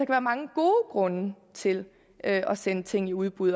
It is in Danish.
være mange gode grunde til at sende ting i udbud